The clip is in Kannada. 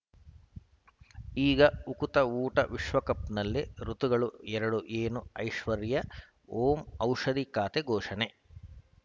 ಈಗ ಉಕುತ ಊಟ ವಿಶ್ವಕಪ್‌ನಲ್ಲಿ ಋತುಗಳು ಎರಡು ಏನು ಐಶ್ವರ್ಯಾ ಓಂ ಔಷಧಿ ಖಾತೆ ಘೋಷಣೆ